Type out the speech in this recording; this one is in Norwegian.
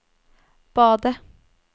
badet